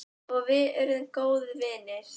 Og við urðum góðir vinir.